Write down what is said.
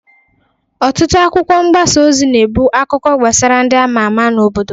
Ọtụtụ akwụkwọ mgbasa ozi na-ebụ akụkọ gbasara ndị ama ama n'obodo.